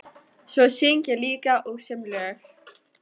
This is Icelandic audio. Svo syng ég líka og sem lög.